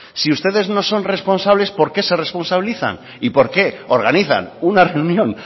si ustedes no son responsables por qué se responsabilizan y porque organizan una reunión